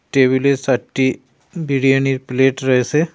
টেবিলে চারটি বিরিয়ানির প্লেট রয়েছে ।